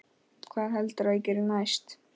Hvað heldurðu að gerist næst?